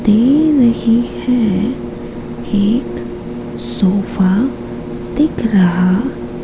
दे रही है एक सोफ़ा दिख रहा--